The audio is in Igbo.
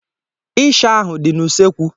isha ahụ dị n' usekwu